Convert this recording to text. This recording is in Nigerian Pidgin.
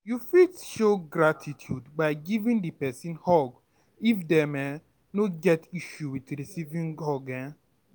You fit show gratitude by giving di person hug if dem um no get issue with recieving hug um